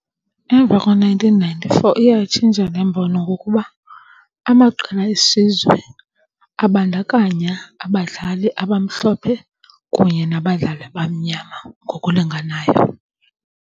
Emva ko-nineteen ninety-four iye yatshintsha le mbono ngokuba amaqela esizwe abandakanya abadlali abamhlophe kunye nabadlali abamnyama ngokulinganayo.